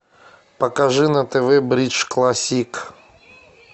покажи на тв бридж классик